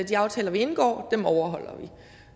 de aftaler vi indgår overholder vi